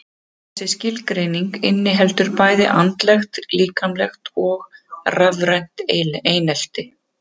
Þessi skilgreining inniheldur bæði andlegt, líkamlegt og rafrænt einelti.